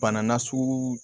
Bana na sugu